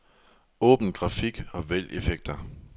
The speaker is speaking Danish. Åbn grafik og vælg effekter.